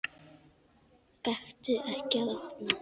Gakktu ekki að opinu.